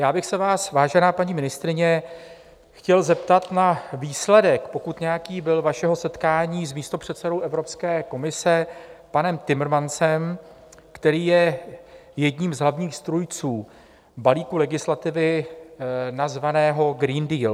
Já bych se vás, vážená paní ministryně, chtěl zeptat na výsledek, pokud nějaký byl, vašeho setkání s místopředsedou Evropské komise panem Timmermansem, který je jedním z hlavních strůjců balíku legislativy, nazvaného Green Deal.